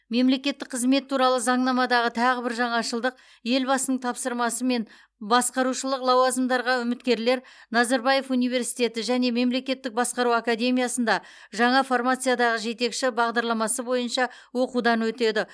мемлекеттік қызмет туралы заңнамадағы тағы бір жаңашылдық елбасының тапсырмасымен басқарушылық лауазымдарға үміткерлер назарбаев университеті және мемлекеттік басқару академиясында жаңа формациядағы жетекші бағдарламасы бойынша оқудан өтеді